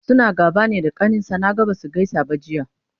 suna gaba ne da kaninsa? Naga Basu gaisa ba Jiya